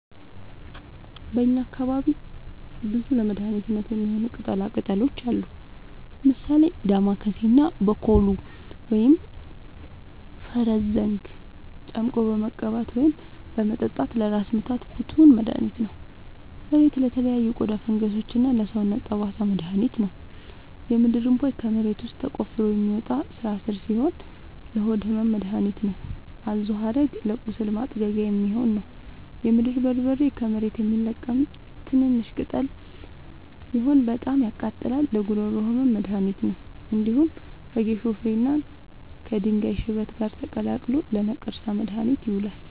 በእኛ አካባቢ ብዙ ለመድሀነት የሚሆኑ ቅጠላ ቅጠሎች አሉ። ምሳሌ፦ ዳማከሴ እና ቦኮሉ(ፈረስዘንግ) ጨምቆ በመቀባት ወይም በመጠጣት ለራስ ምታት ፍቱን መድሀኒት ነው። እሬት ለተለያዩ የቆዳ ፈንገሶች እና ለሰውነት ጠባሳ መድሀኒት ነው። የምድርእንቧይ ከመሬት ውስጥ ተቆፍሮ የሚወጣ ስራስር ሲሆን ለሆድ ህመም መደሀኒት ነው። አዞሀረግ ለቁስል ማጥጊያ የሚሆን ነው። የምድር በርበሬ ከመሬት የሚለቀም ትንሽሽ ቅጠል ሲሆን በጣም ያቃጥላል ለጉሮሮ ህመም መድሀኒት ነው። እንዲሁም ከጌሾ ፍሬ እና ከድንጋይ ሽበት ጋር ተቀላቅሎ ለነቀርሳ መድሀኒት ይሆናል።